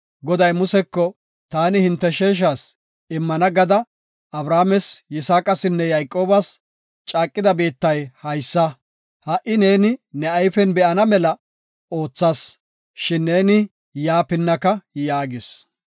Goday Museko, “Taani hinte sheeshas immana gada Abrahaames, Yisaaqasinne Yayqoobas, caaqida biittay haysa. Ha77i neeni ne ayfen be7ana mela oothas, shin neeni yaa pinnaka” yaagis.